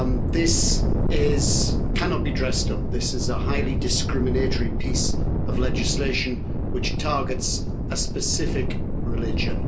This cannot be dressed up. This is a highly discriminatory piece of legislation which targets a specific religion.